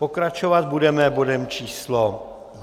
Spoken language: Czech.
Pokračovat budeme bodem číslo